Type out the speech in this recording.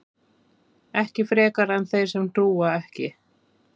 ekki frekar en þeir sem trúa ekki